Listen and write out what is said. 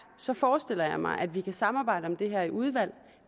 så forestiller jeg mig at vi kunne samarbejde om det her i udvalget